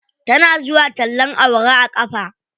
Tana zuwa tallen awara a ƙafa.